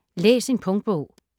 Læs en punktbog